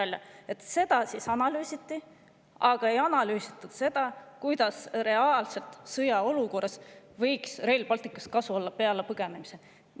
Nii et seda analüüsiti, aga ei analüüsitud seda, kuidas sõjaolukorras võiks Rail Balticust reaalselt kasu olla, peale põgenemise.